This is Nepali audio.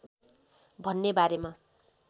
भन्ने बारेमा